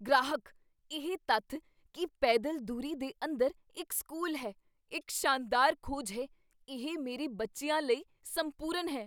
ਗ੍ਰਾਹਕ "ਇਹ ਤੱਥ ਕੀ ਪੈਦਲ ਦੂਰੀ ਦੇ ਅੰਦਰ ਇੱਕ ਸਕੂਲ ਹੈ, ਇੱਕ ਸ਼ਾਨਦਾਰ ਖੋਜ ਹੈ ਇਹ ਮੇਰੇ ਬੱਚਿਆਂ ਲਈ ਸੰਪੂਰਨ ਹੈ"